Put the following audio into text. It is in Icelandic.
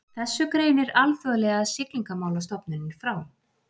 Þessu greinir Alþjóðlega siglingamálastofnunin frá